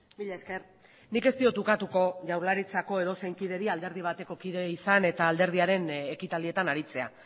mila esker nik ez diot ukatuko jaurlaritzako edozein kideri alderdi bateko kide izan eta alderdiaren ekitaldietan aritzea